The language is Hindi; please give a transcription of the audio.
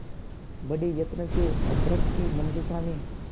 बड़े यत्न से अभ्र्रक की मंजुषा में